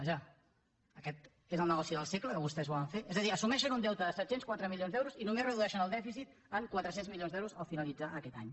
vaja aquest és el negoci del segle que vostès volen fer és a dir assumeixen un deute de set cents i quatre milions d’euros i només redueixen el dèficit en quatre cents milions d’euros al finalitzar aquest any